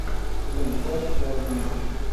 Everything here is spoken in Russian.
сезон два сериал винил